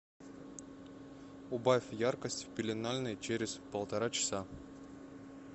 убавь яркость в пеленальной через полтора часа